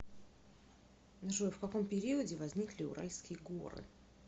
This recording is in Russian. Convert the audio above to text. джой в каком периоде возникли уральские горы